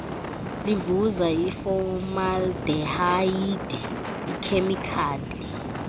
livuza ifomaldehayidi ikhemikhali